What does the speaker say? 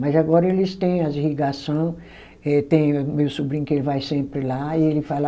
Mas agora eles têm as irrigação, eh tem meu sobrinho que ele vai sempre lá e ele fala